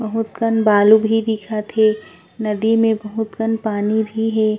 बहुत कन बालू भी दिखत हे नदी में बहुत कन पानी भी हे।